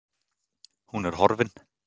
Hún er horfin